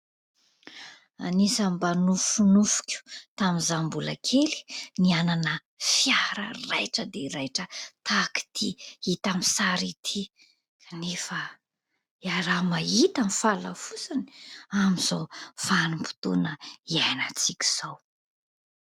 Anisan'ny mba nofinofiko tamin'izaho mbola kely ny hanana fiara raitra dia raitra tahaka itỳ hita amin'ny sary itỳ ; nefa hiaraha-mahita ny fahalafosany amin'izao vanim-potoana hiainantsika izao.